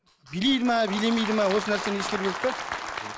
билейді ме билемейді ме осы нәрсені ескеру керек те